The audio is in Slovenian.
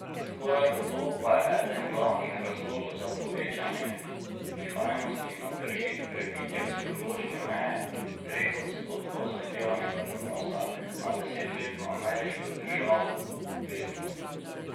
Skoraj gotovo pa je eden glavnih razlogov za povečanje nihajnosti na trgih prebitje psihološke meje treh odstotkov zahtevanega donosa na desetletno ameriško državno obveznico.